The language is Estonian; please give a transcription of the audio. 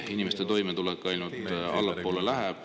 Inimeste toimetulek läheb ainult allapoole.